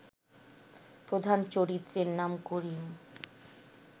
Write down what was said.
প্রধান চরিত্রের নাম করিম